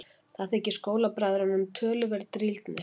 Það þykir skólabræðrunum töluverð drýldni.